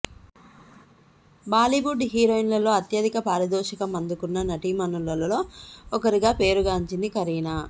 బాలీవుడ్ హీరోయిన్లలో అత్యధిక పారితోషికం అందుకున్న నటీమణుల్లో ఒకరిగా పేరు గాంచింది కరీనా